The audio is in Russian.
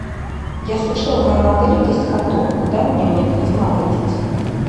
я слышала в моем отеле есть каток куда мне необходимо обратиться